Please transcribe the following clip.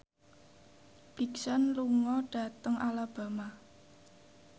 Big Sean lunga dhateng Alabama